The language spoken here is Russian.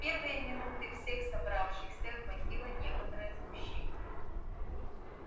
в первые минуты всех собравшихся охватило некоторое смущение